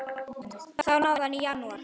Því náði hann í janúar.